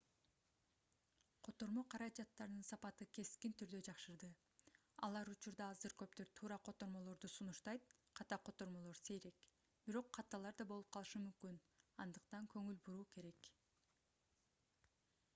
котормо каражаттарынын сапаты кескин түрдө жакшырды алар учурда аздыр-көптүр туура котормолорду сунуштайт ката котормолор сейрек бирок каталар да болуп калышы мүмкүн андыктан көңүл буруу керек